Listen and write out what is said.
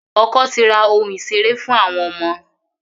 Ọkọ ti ra ohun ìṣeré fún àwọn ọmọ.